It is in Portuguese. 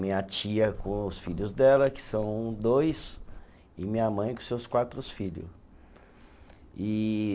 Minha tia com os filhos dela, que são dois, e minha mãe com seus quatros filho, e.